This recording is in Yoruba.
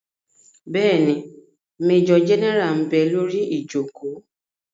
Bẹ́ẹ̀ni, majọ gẹ́nẹ́rà ḿ bẹ lórí ìjòkó